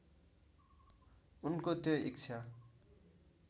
उनको त्यो इच्छा